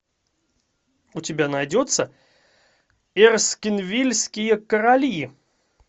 у тебя найдется эрскинвильские короли